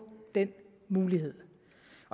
den mulighed